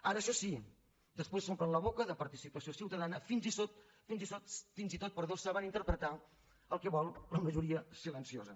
ara això sí després s’omplen la boca de participació ciutadana fins i tot saben interpretar el que vol la majoria silenciosa